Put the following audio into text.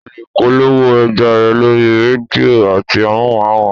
O lè polówó ọjà rẹ lórí rédíò àti amóhùnmáwòrán